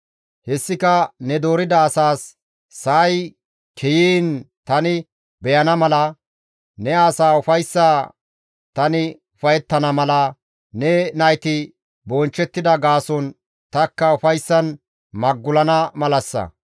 Hessika ne doorida asaas sa7ay kiyiin tani beyana mala, ne asaa ufayssa tani ufayettana mala, ne nayti bonchchettida gaason tanikka ufayssan magulana malassa.